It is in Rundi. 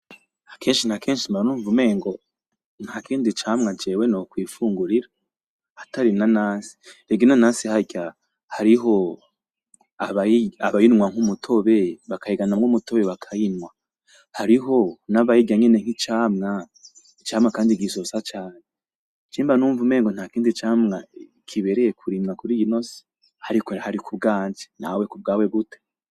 Akenshi na kenshi mba numva umengo, nta kindi camwa jewe nokwifungurira atari inanasi. Rega inanasi harya hariho abayinywa nk'umutobe, bakayiganamwo umutobe bakayinywa. Hariho n'abayirya nyene nk'icamwa, icamwa kandi gisosa cane. Je mba numva umengo nta kindi camwa kibereye kurimwa kuri ino si. Ariko rero aho hari ku bwanje, nawe ku bwawe gute?